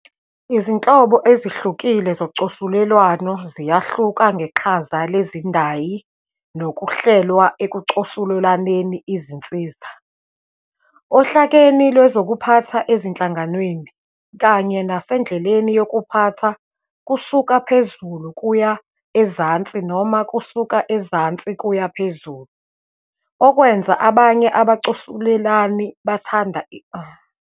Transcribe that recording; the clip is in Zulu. Izinhlobo ezihlukile zocosulelwano ziyahluka ngeqhaza lezindayi nokuhlelwa ekucosulelaneni izinsiza, ohlakeni lwezokuphatha ezinhlanganweni, kanye nasendleleni yokuphatha kusuka phezulu kuya ezansi noma ukusuka ezansi kuya phezulu, okwenza abanye abacosulelani bathanda iqembu, umbuso, noma indlela yezikhulu.